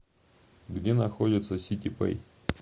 где находится ситипэй